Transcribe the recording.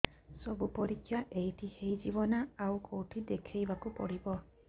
ସବୁ ପରୀକ୍ଷା ଏଇଠି ହେଇଯିବ ନା ଆଉ କଉଠି ଦେଖେଇ ବାକୁ ପଡ଼ିବ